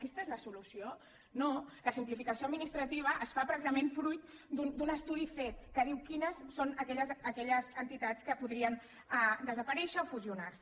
aquesta és la solució no la simplificació administrativa es fa precisament fruit d’un estudi fet que diu quines són aquelles entitats que podrien desaparèixer o fusionar se